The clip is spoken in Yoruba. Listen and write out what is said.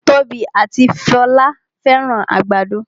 Tobi ati Folá fẹ́ràn àgbàdo